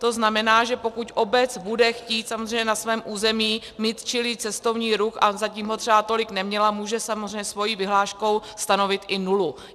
To znamená, že pokud obec bude chtít samozřejmě na svém území mít čilý cestovní ruch a zatím ho třeba tolik neměla, může samozřejmě svou vyhláškou stanovit i nulu.